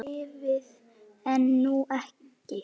Hann lifði en hún ekki.